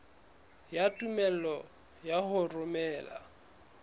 ya tumello ya ho romela